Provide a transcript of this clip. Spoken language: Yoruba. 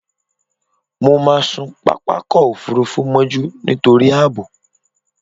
Mo máà sun pápákọ̀-òfurufú mọ́jú nítorí ààbò.